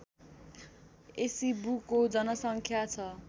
एसीबुको जनसङ्ख्या छ